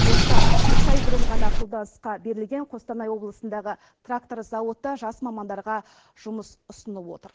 осыдан үш ай бұрын ғана қолданысқа берілген қостанай облысындағы трактор зауыты жас мамандарға жұмыс ұсынып отыр